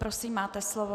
Prosím, máte slovo.